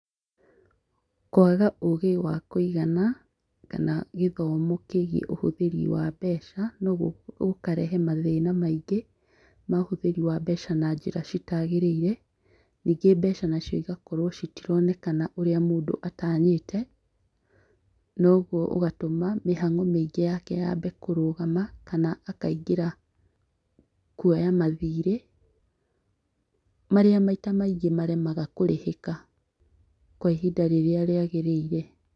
Kwaga ũgĩ wa kũigana kana gĩthomo kĩgiĩ ũhũthĩri wa mbeca no gũkarehe mathĩna maingĩ ma ũhũthĩri wa mbeca na njĩra citagĩrĩire ningĩ mbeca nacio igakorwo citironekana ũrĩa mũndũ atanyĩte , noguo ũgatũma mĩhang'o mĩingĩ yake yambe kũrũgama kana akaingĩra kwoya mathirĩ marĩa maita maingĩ maremaga kũrĩhĩka kwa ihinda rĩrĩa rĩagĩrĩire.